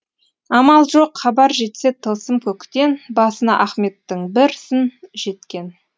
амал жоқ хабар жетсе тылсым көктен басына ахметтің бір сын жеткен